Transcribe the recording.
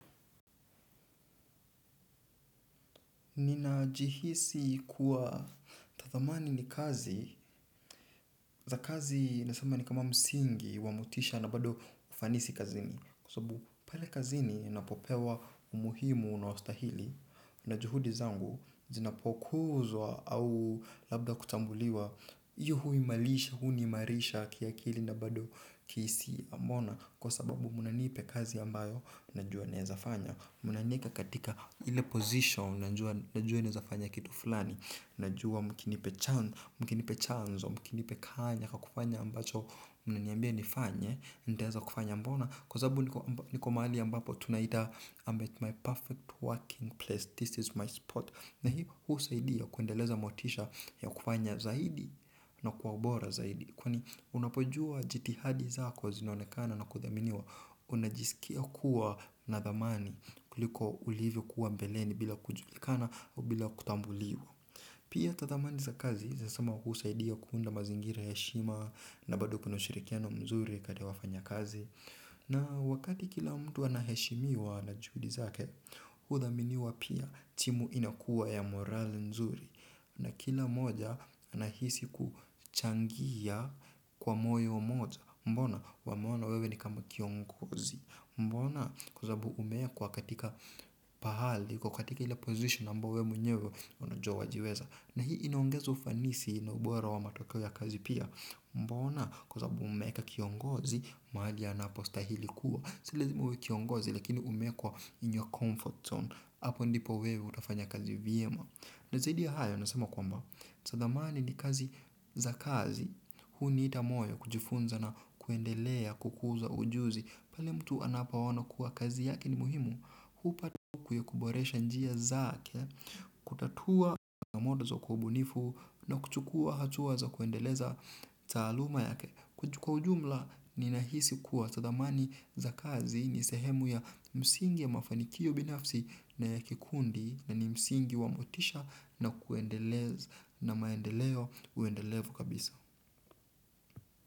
Nina jihisi kuwa tathamani ni kazi za kazi nasama ni kama msingi wamotisha na bado ufanisi kazini. Kwa sababu pale kazini napopewa umuhimu unaostahili na juhudi zangu zinapokuzwa au labda kutambuliwa. Iyo huimalisha huniimarisha kiakili na bado kihisia mona kwa sababu munanipe kazi ambayo najua naezafanya. Mnanieka katika ile position. Najua naezafanya kitu fulani. Najua mkinipe chanzo. Mkinipe kanya kwa kufanya ambacho mnaniambia nifanye. Ndaeza kufanya mbona. Kwa sababu niko maali ambapo tunaita I'm at my perfect working place. This is my spot. Na hii husaidi ya kuendeleza motisha ya kufanya zaidi. Na kwa ubora zaidi. Kwani unapojua jitihadi zako zinaonekana na kuthaminiwa. Unajisikia kuwa na thamani kuliko ulivyo kuwa mbeleni bila kujulikana au bila kutambuliwa. Pia tathamani za kazi zesama husaidia kuunda mazingira ya heshima. Na bado kuna ushirikiano mzuri kati ya wafanya kazi. Na wakati kila mtu anaheshimiwa na juhudi zake huthaminiwa pia timu inakuwa ya morali nzuri. Na kila mmoja anahisi kuchangia kwa moyo moja. Mbona wameona wewe ni kama kiongozi. Mbona kwa sababu umekwa katika pahali kwa katika ile position ambayo we mwenyewe unajua wajiweza. Na hii inaongeza ufanisi na ubora wa matokeo ya kazi pia. Mbona kwa sababu umeka kiongozi mahali anapo stahili kuwa si lazima uwe kiongozi lakini umekwa in your comfort zone. Apo ndipo wewe utafanya kazi vyema. Na zaidi ya hayo nasema kwamba tathamani ni kazi za kazi. Huniita moyo kujifunza na kuendelea kukuza ujuzi. Pale mtu anapo ono kuwa kazi yake ni muhimu, hupata kuyakuboresha njia zake, kutatua na poromodo za kwa ubunifu na kuchukua hatua za kuendeleza taaluma yake. Kwa ujumla ni nahisi kuwa tathamani za kazi ni sehemu ya msingi ya mafanikio binafsi na ya kikundi na ni msingi wa motisha na kuendeleza na maendeleo uendelevu kabisa.